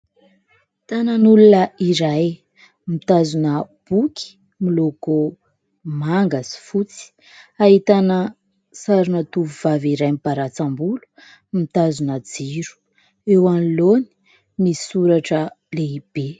Tanan'olona izahay mitazona boky miloko manga sy fotsy ahitana sarina tofovavy iray mibaratsambolo mitazona jiro eo anoloany misy soratra lehibe.